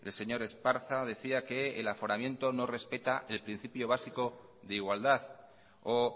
señor esparza decía que el aforamiento no respeta el principio básico de igualdad o